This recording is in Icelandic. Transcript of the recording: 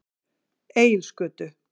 Egilsgötu